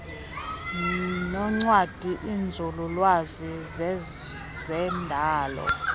noncwadi iinzululwazi zezendalo